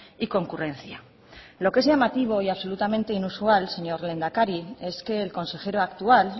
y concurrencia lo que es llamativo y absolutamente inusual señor lehendakari es que el consejero actual